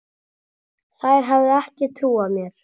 Þær hefðu ekki trúað mér.